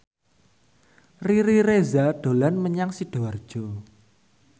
Riri Reza dolan menyang Sidoarjo